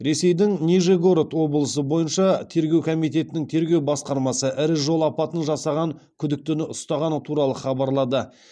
ресейдің нижегород облысы бойынша тергеу комитетінің тергеу басқармасы ірі жол апатын жасаған күдіктіні ұстағаны туралы хабарлады